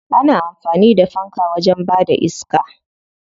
Ana amfani da fanka wajen bada iska.